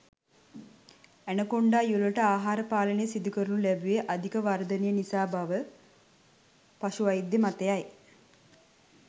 Anaconda යුවළට ආහාර පාලනය සිදු කරනු ලැබුවේ අධික වර්ධනය නිසා බව පශු වෛද්‍ය මතයයි.